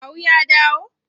Kawu ya dawo?